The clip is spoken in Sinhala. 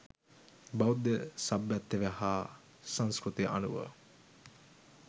බෞද්ධ සභ්‍යත්වය හා සංස්කෘතිය අනුව